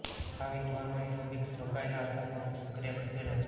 આ વીંટવાનું ઍરોબિક્સ રોકાયેલા અથવા ફક્ત સક્રિય ખસેડો